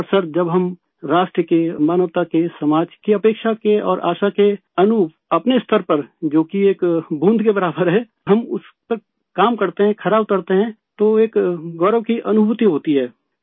اور سر، جب ہم ملک کے ، انسانیت کے ، معاشرہ کے توقعات اور امیدوں کے مطابق اپنی سطح پر جو کہ ایک قطرے کے برابر ہے ، ہم اس پر کام کرتے ہیں، کھرا اترتے ہے تو ایک فخر کا احساس ہوتا ہے